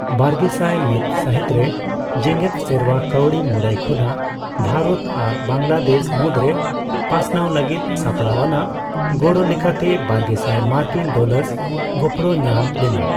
ᱵᱟᱨᱜᱮᱥᱟᱭ ᱢᱤᱛ ᱥᱟᱹᱦᱤᱛᱨᱮ, ᱡᱮᱜᱮᱫ ᱥᱮᱨᱣᱟ ᱠᱟᱹᱣᱰᱤ ᱢᱩᱨᱟᱹᱭ ᱠᱷᱚᱱᱟᱜ ᱵᱷᱟᱨᱚᱛ ᱟᱨ ᱵᱟᱝᱞᱟᱫᱮᱥ ᱢᱩᱫᱽᱨᱮ ᱯᱟᱥᱱᱟᱣ ᱞᱟᱹᱜᱤᱫ ᱥᱟᱯᱲᱟᱣ ᱟᱱᱟᱜ ᱜᱚᱲᱚ ᱞᱮᱠᱟᱛᱮ ᱵᱟᱨᱜᱮᱥᱟᱭ ᱢᱟᱨᱠᱤᱱ ᱰᱚᱞᱟᱨᱥ ᱜᱚᱯᱚᱲᱚ ᱧᱟᱢ ᱞᱮᱱᱟ ᱾